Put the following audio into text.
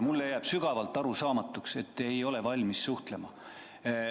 Mulle jääb sügavalt arusaamatuks, miks te ei ole valmis suhtlema.